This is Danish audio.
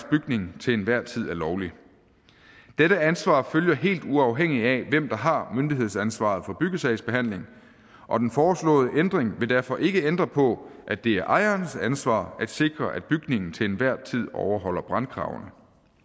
bygningen til enhver tid er lovlig dette ansvar følger helt uafhængigt af hvem der har myndighedsansvaret for byggesagsbehandlingen og den foreslåede ændring vil derfor ikke ændre på at det er ejerens ansvar at sikre at bygningen til enhver tid overholder brandkravene